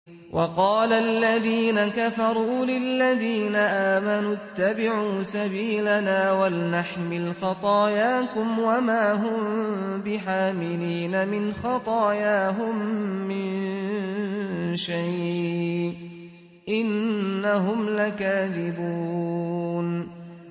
وَقَالَ الَّذِينَ كَفَرُوا لِلَّذِينَ آمَنُوا اتَّبِعُوا سَبِيلَنَا وَلْنَحْمِلْ خَطَايَاكُمْ وَمَا هُم بِحَامِلِينَ مِنْ خَطَايَاهُم مِّن شَيْءٍ ۖ إِنَّهُمْ لَكَاذِبُونَ